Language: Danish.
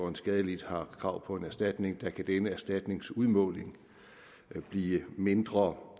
en skadelidt har krav på en erstatning kan denne erstatnings udmåling blive mindre